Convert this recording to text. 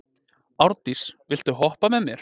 Árndís, viltu hoppa með mér?